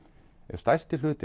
ef stærstur hluti